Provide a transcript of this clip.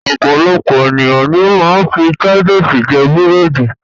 Ọpọ̀lọpọ̀ ènìyàn ni ó ma ń fi Titus jẹ búrẹ̀dì